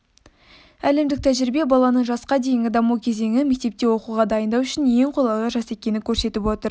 әлемдік тәжірибе баланың жасқа дейінгі даму кезеңі мектепте оқуға дайындау үшін ең қолайлы жас екенін көрсетіп отыр